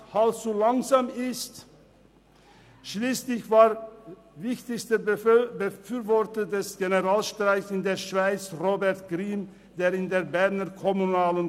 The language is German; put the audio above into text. Im Gesamtarbeitsvertrag des Bauhauptgewerbes gibt es eine gute Lösung: